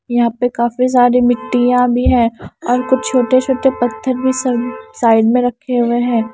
यहां पे काफी सारी मिट्टियां भी है और कुछ छोटे-छोटे पत्थर भी सब साइड में रखे हुए हैं।